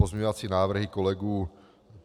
Pozměňovací návrhy kolegů